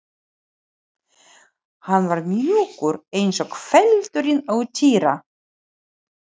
Hann var mjúkur eins og feldurinn á Týra.